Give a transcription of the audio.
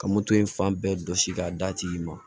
Ka moto in fan bɛɛ jɔsi k'a d'a tigi ma